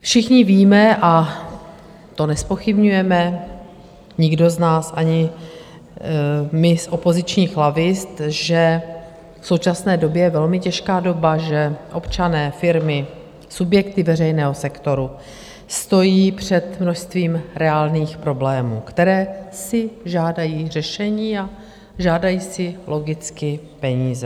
Všichni víme - a to nezpochybňujeme nikdo z nás, ani my z opozičních lavic - že v současné době je velmi těžká doba, že občané, firmy, subjekty veřejného sektoru stojí před množstvím reálných problémů, které si žádají řešení a žádají si logicky peníze.